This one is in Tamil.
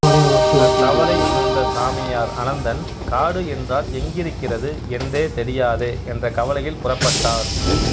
தன் தவறை உணர்ந்த சாமியார் அனந்தன் காடு என்றால் எங்கிருக்கிறது என்றே தெரியாதே என்ற கவலையில் புறப்பட்டார்